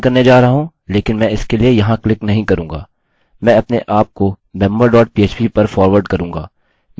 मैं अपने आपको member dot php पर फारवर्ड करूँगा मेसेज बन गया है और मुझे ऐक्सेस की अनुमति दी गई है